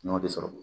N'o de sɔrɔ